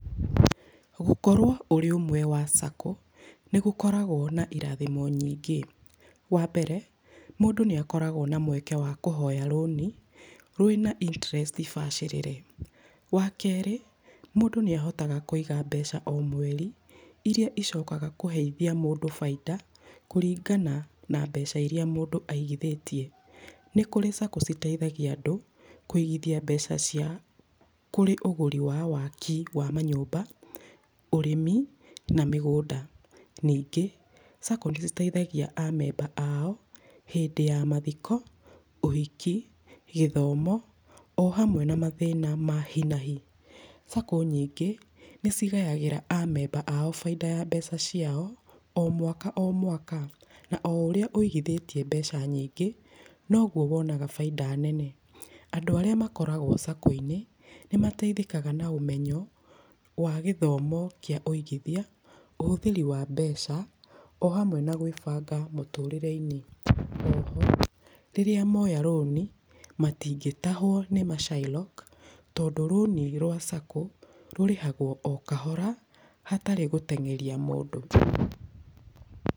Gũkorwo ũrĩ ũmwe wa SACCO nĩ gũkoragwo na irathĩmo nyingĩ. Wa mbere, mũndũ nĩ akoragwo na mweke wa kũhoya rũnĩ, rwĩna interest bacĩrĩre. Wa keerĩ, mũndũ nĩ ahotaga kũiga mbeca o mweri, iria icokaga kũheithia mũndũ baita kũringana na mbeca iria mũndu aigithĩgtie. Nĩ kũri SACCO citeithagia andũ kũigithia mbeca ciao kũrĩ ũgũri wa waaki wa manyũmba, ũrĩmi na mĩgũnga. Ningĩ, SACCO nĩ ĩiteithagia amemba aao, hĩndĩ ya mathiko, ũhiki, gĩthomo o hamwe na mathĩna ma hi na hi. SACCO nyingĩ nĩ cigayagĩra amemba aao baita ya mbeca ciao o mwaka o mwaka. Na o ũrĩa ũigithĩtie mbeca nyingĩ, noguo wonaga baita nene. Andũ arĩa makoragwo SACCO-inĩ, nĩmateithĩkaga na ũmenyo wa gĩthomo kĩa ũigithia, ũhũthĩri wa mbeca o hamwe na gwĩbanga mũtũrĩreinĩ. O ho, rĩrĩa moya rũni matingĩtahwo nĩ macairoko tondũ rũni rwa SACCO rũrĩhagwo o kahora hatarĩ gũtengeria mũndũ tũ.